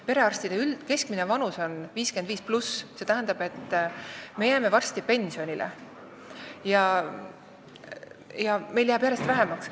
Perearstide keskmine vanus on üle 55, st me jääme varsti pensionile ja meid jääb järjest vähemaks.